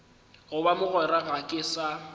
goba mogwera ga ke sa